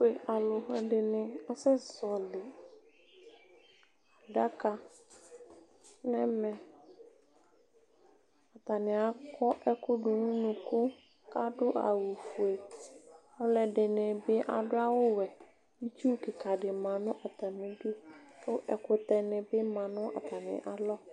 Ɛtʋfue alʋ ni asɛ zɔli adaka nʋ ɛmɛ atani akɔ ɛkʋ dʋnʋ ʋnʋkʋ kʋ adʋ awʋfue alʋ ɛdini bi adʋ awʋwɛ itsu kikadi manʋ atami idʋ kʋ ɛkʋtɛ nibi manʋ atami alɔ